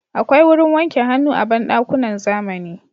Akwai wurin wanke hannu a banɗakunan zamani